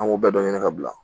An b'o bɛɛ ɲini ka bila